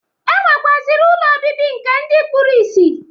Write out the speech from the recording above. E nwekwaziri ụlọ obibi nke ndi kpuru ìsì.